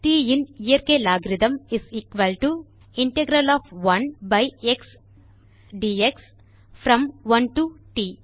ட் in இயற்கை logarithm is equal to the integral of 1 by x dx from 1 to T